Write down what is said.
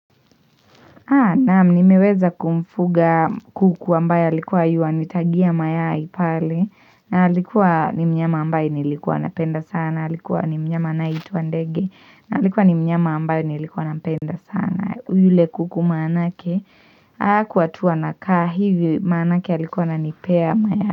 Naam nimeweza kumfuga kuku ambaye alikuwa yuwanitagia mayai pale na alikuwa ni mnyama ambaye nilikuwa napenda sana alikuwa ni mnyama anayeitwa ndege na alikuwa ni mnyama ambaye nilikuwa nampenda sana yule kuku manake hakuwa tu anakaa hivi manake alikuwa ananipea mayai.